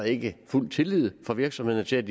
ikke er fuld tillid fra virksomhederne til